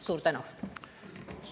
Suur tänu!